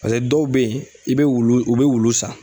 Pase dɔw be yen i be wulu u be wulu san